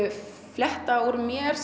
flétta úr mér